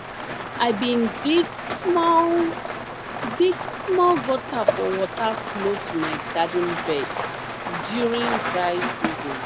i bin dig small dig small gutter for water flow to my garden bed during dry season